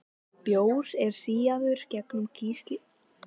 Bjór er síaður gegnum kísilgúr fyrir átöppun.